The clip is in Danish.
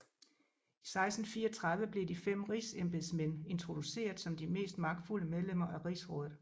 I 1634 blev de fem Rigsembedsmænd introduceret som de mest magtfulde medlemmer af Rigsrådet